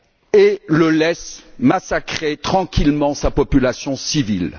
et le laisse massacrer tranquillement sa population civile.